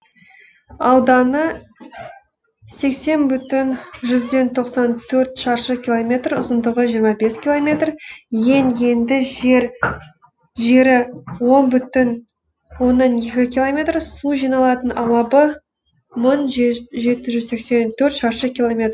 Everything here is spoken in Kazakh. ауданы сексен бүтін жүзден тоқсан төрт шаршы километр ұзындығы жиырма бес километр ең енді жері он бүтін оннан екі километр су жиналатын алабы мың жеті жүз сексен төрт шаршы километр